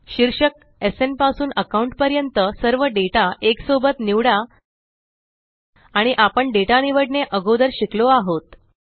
शीर्षक एसएन पासून अकाउंट पर्यंत सर्व डेटा एक सोबत निवडा आणि आपण डेटा निवडने अगोदर शिकलो आहोत